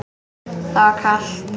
Það var kalt.